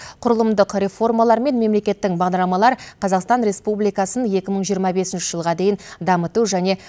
құрылымдық реформалар мен мемлекеттік бағдарламалар қазақстан республикасын екі мың жиырма бесінші жылға дейін дамыту және